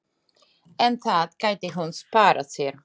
En það gæti hún sparað sér.